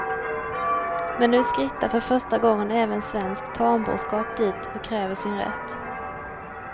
Men nu skrittar för första gången även svensk tamboskap dit och kräver sin rätt.